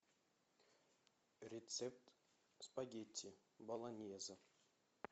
рецепт спагетти болоньезе